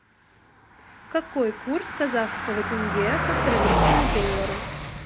какой курс казахского тенге к австралийскому доллару